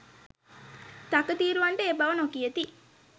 තකතිරුවන්ට ඒ බව නොකියති.